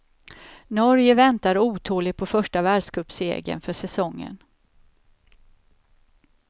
Norge väntar otåligt på första världscupsegern för säsongen.